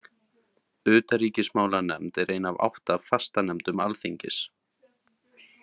Utanríkismálanefnd er ein af átta fastanefndum alþingis.